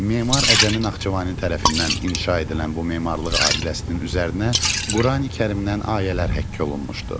Memar Əcəmi Naxçıvani tərəfindən inşa edilən bu memarlıq abidəsinin üzərinə Qurani-Kərimdən ayələr həkk olunmuşdu.